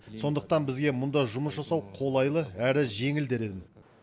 сондықтан бізге мұнда жұмыс жасау қолайлы әрі жеңіл дер едім